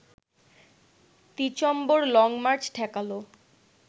December long march ঠেকাল